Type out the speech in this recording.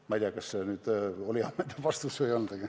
Ma ei tea, kas see oli ammendav vastus või ei olnud.